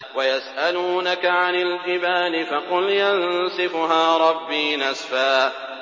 وَيَسْأَلُونَكَ عَنِ الْجِبَالِ فَقُلْ يَنسِفُهَا رَبِّي نَسْفًا